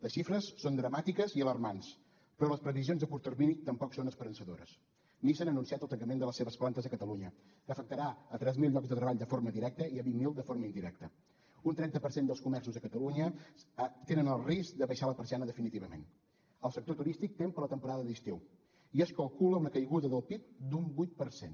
les xifres són dramàtiques i alarmants però les previsions a curt termini tampoc són esperançadores nissan ha anunciat el tancament de les seves plantes a catalunya que afectarà tres mil llocs de treball de forma directa i vint mil de forma indirecta un trenta per cent dels comerços de catalunya tenen el risc d’abaixar la persiana definitivament el sector turístic tem per la temporada d’estiu i es calcula una caiguda del pib d’un vuit per cent